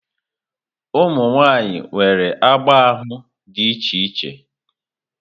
Ụmụ nwaanyị nwere agba ahụ dị iche iche.